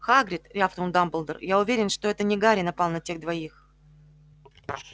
хагрид рявкнул дамблдор я уверен что это не гарри напал на тех двоих